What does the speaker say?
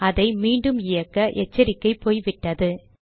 அதை மீண்டும் இயக்க எச்சரிக்கை போய்விட்டது